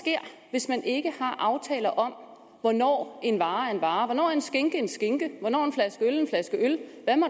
hvis man ikke har aftaler om hvornår en vare er en vare hvornår en skinke er en skinke hvornår en flaske øl er en flaske øl